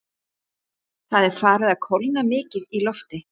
Það er farið að kólna mikið í lofti.